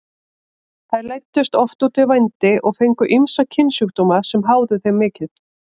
Þær leiddust oft út í vændi og fengu ýmsa kynsjúkdóma sem háðu þeim mikið.